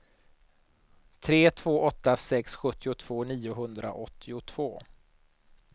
tre två åtta sex sjuttiotvå niohundraåttiotvå